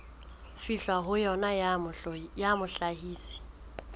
fihlwang ho yona ya mohlahisi